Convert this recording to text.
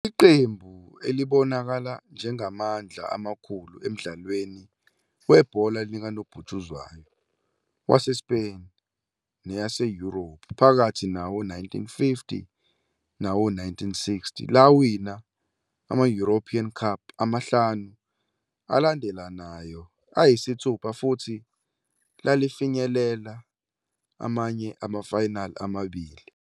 Leli qembu libonakala njengamandla amakhulu emdlalweni webhola likanobhutshuzwayo waseSpain naseYurophu phakathi nawo-1950 nawo-1960, lawina ama-European Cup amahlanu alandelanayo ayisithupha futhi lafinyelela amanye ama-final amabili.